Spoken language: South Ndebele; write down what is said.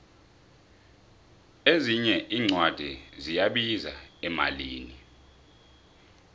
ezinye incwadi ziyabiza emalini